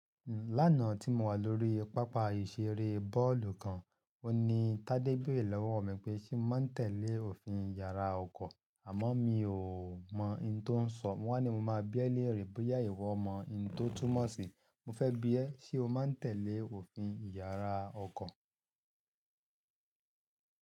Lánàá tí mo wà lórí pápá ìṣeré bóòlù kan, òní Tádé béèrè lọ́wọ́ mi pé ṣé mo ń tẹ̀lé òfin Ìyàrá ọkọ̀, àmọ́ mi ò mọ̀ ohun ti o ń sọ. Mo wá ní mo máa bíẹ̀ léèrè bóyá ìwọ mọ ohun tó túmọ̀ sí, mo fẹ́ bí ẹ́ ṣe ó máa ń tẹ̀lé òfin Ìyàrá ọkọ̀.